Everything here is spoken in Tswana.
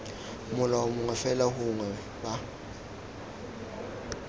molao mongwe fela gongwe b